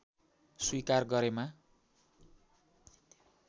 स्वीकार गरेमा